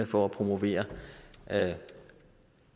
for at promovere